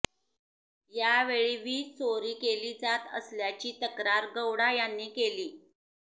यावेळी वीज चोरी केली जात असल्याची तक्रार गौडा यांनी केली